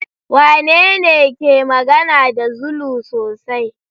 Wanene ke magana da Zulu sosai?